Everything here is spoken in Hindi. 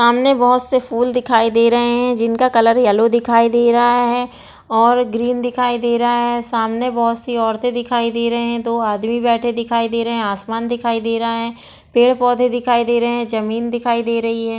सामने बहुत से फूल दिखाई दे रहे है जिनका कलर येलो दिखाई दे रहा है और ग्रीन दिखाई दे रहा है सामने बहुत सी औरते दिखाई दे रहे है दो आदमी दिखाई दे रहे है आसमान दिखाई दे रहा है पेड़ पौधे दिखाई दे रहे है जमीन दिखाई दे रही हैं ।